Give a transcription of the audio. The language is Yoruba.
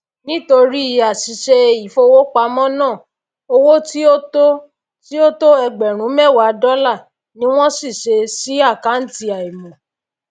nítorí àsìse ìfowópámó ná owó tí ó tó tí ó tó ẹgbèrún méwàá dólà ni wón ṣìse sí àkàntì àìmò